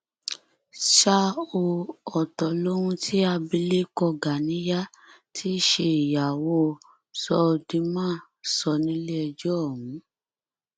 ṣá ò ọtọ lohun tí abilékọ ganiya tí í ṣe ìyàwó söldeman sọ nílẹẹjọ ọhún